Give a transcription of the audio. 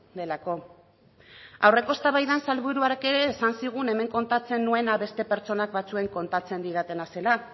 delako aurreko eztabaidan sailburuak ere esan zigun hemen kontatzen nuena beste pertsona batzuek kontatzen didatena zela